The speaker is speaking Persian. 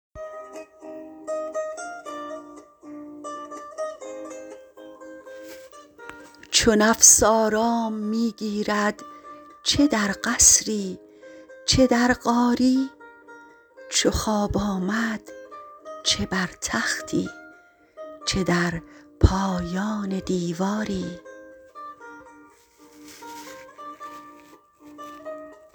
چو نفس آرام می گیرد چه در قصری چه در غاری چو خواب آمد چه بر تختی چه در پایان دیواری